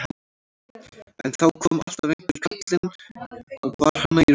En þá kom alltaf einhver kallinn og bar hana í rúmið.